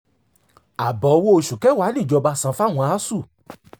ààbọ̀ owó oṣù kẹwàá níjọba san fáwọn asuu